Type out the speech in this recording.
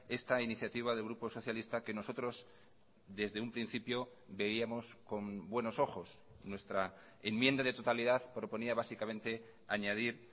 esta iniciativa del grupo socialista que nosotros desde un principio veíamos con buenos ojos nuestra enmienda de totalidad proponía básicamente añadir